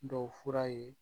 Dɔw fura ye